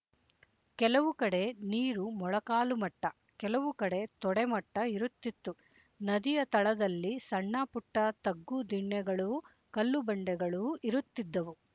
ಕೆಲವು ಕಡೆ ನೀರು ಮೊಳಕಾಲು ಮಟ್ಟ ಕೆಲವು ಕಡೆ ತೊಡೆ ಮಟ್ಟ ಇರುತ್ತಿತ್ತು ನದಿಯ ತಳದಲ್ಲಿ ಸಣ್ಣ ಪುಟ್ಟ ತಗ್ಗು ದಿಣ್ಣೆಗಳೂ ಕಲ್ಲು ಬಂಡೆಗಳೂ ಇರುತ್ತಿದ್ದುವು